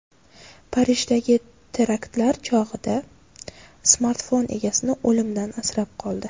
Parijdagi teraktlar chog‘ida smartfon egasini o‘limdan asrab qoldi.